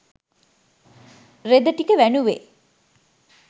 රෙදි ටික වැනුවෙ.